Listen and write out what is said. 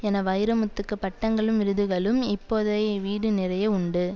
என வைரமுத்துக்கு பட்டங்களும் விருதுகளும் இப்போதே வீடு நிறைய உண்டு